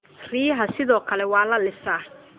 riyaha sidoo kale waa la lisaa